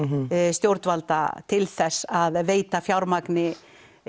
stjórnvalda til þess að veita fjármagni